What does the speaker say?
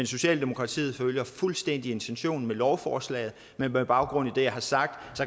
socialdemokratiet følger fuldstændig intentionen med lovforslaget men med baggrund i det jeg har sagt